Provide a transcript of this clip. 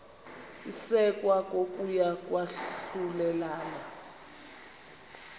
isekwa kokuya kwahlulelana